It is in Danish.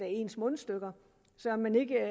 ens mundstykker så man ikke